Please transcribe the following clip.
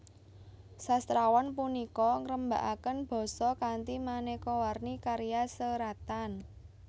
Sastrawan punika ngrembakaken basa kanthi manéka warni karya seratan